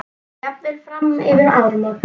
Jafnvel fram yfir áramót.